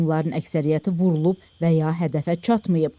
Onların əksəriyyəti vurulub və ya hədəfə çatmayıb.